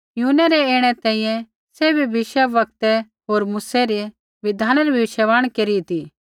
यूहन्नै रै ऐणै तैंईंयैं सैभी भविष्यवक्तै होर मूसै री बिधानै री भविष्यवाणी केरी ती